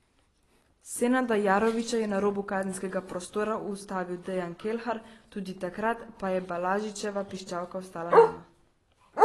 Senada Jarovića je na robu kazenskega prostora ustavil Dejan Kelhar, tudi takrat pa je Balažičeva piščalka ostala nema.